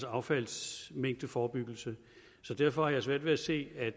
affaldsmængdeforebyggelse så derfor har jeg svært ved at se at